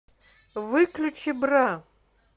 выключи бра